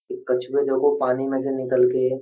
कछुए देखो पानी में से निकल के --